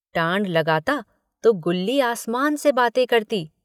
टाँड़ लगाता तो गुल्ली आसमान से बातें करती।